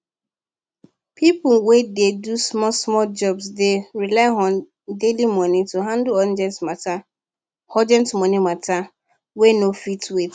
people wey dey do smallsmall jobs dey rely on daily money to handle urgent matter urgent money matter wey no fit wait